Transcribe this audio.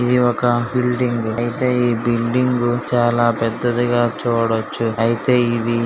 ఇది ఒక బిల్డింగ్ అయితే ఈ బిల్డింగ్ చాలా పెద్దదిగా చూడొచ్చు అయితే ఇది.